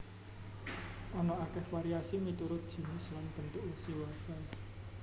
Ana akéh variasi miturut jinis lan bentuk wesi wafel